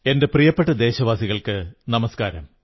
എന്റെ പ്രിയപ്പെട്ട ദേശവാസികൾക്കു നമസ്കാരം